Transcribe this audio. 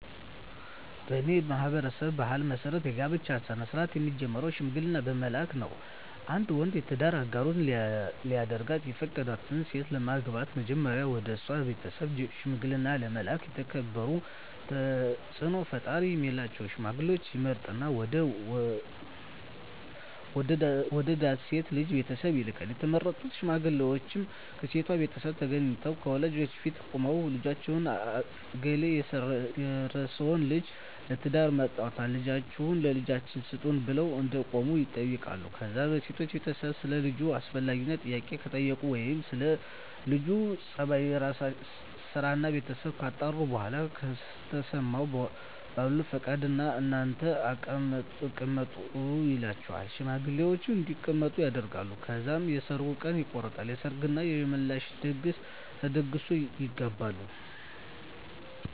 በኔ ማህበረሰብ ባህል መሰረት የጋብቻ ስነ-ስርአት የሚጀምረው ሽምግልና በመላክ ነው። አንድ ወንድ የትዳር አጋሩ ሊያደርጋት የፈቀዳትን ሴት ለማግባት መጀመሪያ ወደሷ ቤተሰብ ሽምግልና ለመላክ የተከበሩና ተጽኖ ፈጣሪ ሚላቸውን ሽማግሌወች ይመርጥና ወደ ወደዳት ልጅ ቤተሰብ ይልካል፣ የተመረጡት ሽማግሌወችም ከሴቷቤት ተገንተው ከወላጆቿ ፊት ቁመው ልጃችን እገሌ የርሰወን ልጅ ለትዳር መርጧልና ልጃችሁን ለልጃችን ስጡን ብለው እንደቆሙ ይጠይቃሉ ከዛ የሴቷ ቤተሰብ ሰለ ልጁ አስፈላጊውን ጥያቄ ከጠየቁ ወይም ስለ ለጁ ጸባይ፣ ስራና ቤተሰቡ ካጣሩ በኋላ ከተስማሙ በሉ ፈቅደናል እናንተም ተቀመጡ ይሏቸውና ሽማግሌወችን እንዲቀመጡ ያደርጋሉ። ከዛ የሰርጉ ቀን ይቆረጥና የሰርግ እና የምላሽ ድግስ ተደግሶ ይጋባሉ።